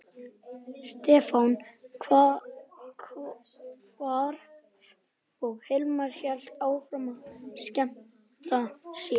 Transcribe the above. Stefán hvarf og Hilmar hélt áfram að skemmta sér.